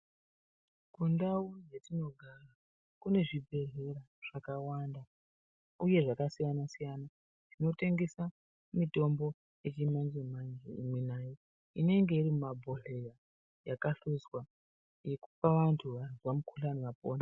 Kundau dzetinogara kune zvibhedhlera zvakawanda ,uye zvakasiyana-siyana, zvinotengesa mitombo yechimanje-manje imwi nayi, inenge iri mumabhodhleya yakahluzwa yekupa vantu vazwa mukhuhlani vapore.